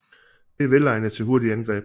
Det er velegnet til hurtige angreb